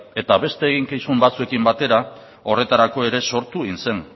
eta beste eginkizun batzuekin batera horretarako ere sortu egin zen